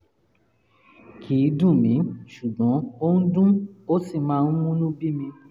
kì í dùn mí ṣùgbọ́n ó ń dún ó sì máa ń múnú bí mi